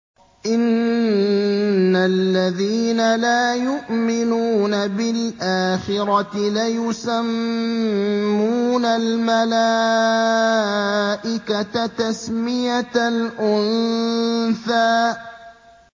إِنَّ الَّذِينَ لَا يُؤْمِنُونَ بِالْآخِرَةِ لَيُسَمُّونَ الْمَلَائِكَةَ تَسْمِيَةَ الْأُنثَىٰ